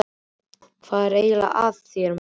Hvað er eiginlega að þér, maður?